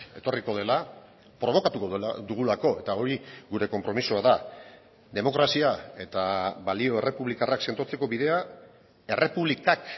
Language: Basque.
etorriko dela probokatuko dugulako eta hori gure konpromisoa da demokrazia eta balio errepublikarrak sendotzeko bidea errepublikak